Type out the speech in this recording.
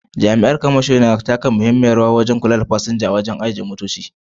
Jami’an kamasho suna taka muhimmiyar rawa wajen kula da kudin tafiya da kuma fasinja a wuraren ajiye motoci a Kano.